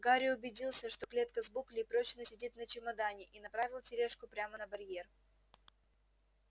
гарри убедился что клетка с буклей прочно сидит на чемодане и направил тележку прямо на барьер